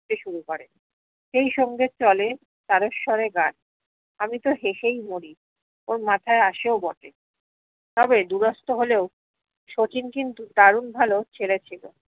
ছে শুরু করে সেই সঙ্গে চলে তারে সরে গান আমি তো হেসেই মরি ওর মাথায় আসেও বটে তবে দুরাস্ত হলেও শচীন কিন্তু দারুণ ভালো ছেলে ছিলো